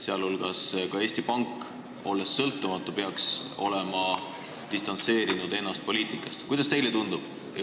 Sealhulgas peaks ka Eesti Pank sõltumatu asutusena olema ennast poliitikast distantseerinud.